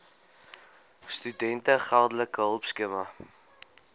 studente geldelike hulpskema